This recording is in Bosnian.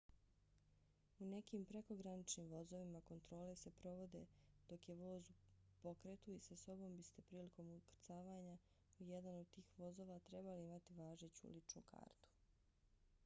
u nekim prekograničnim vozovima kontrole se provode dok je voz u pokretu i sa sobom biste prilikom ukrcavanja u jedan od tih vozova trebali imati važeću ličnu kartu